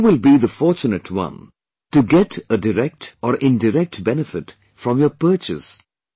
Who will be the fortunate one to get a direct or indirect benefit from your purchase